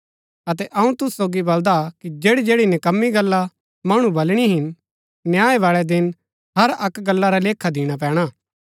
अतै अऊँ तुसु सोगी बलदा कि जैड़ी जैड़ी निकम्मी गल्ला मणु बलणी हिन न्याय बाळै दिन हर अक्क गल्ला रा लेखा दिणा पैणा